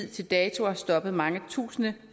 til dato har stoppet mange tusinde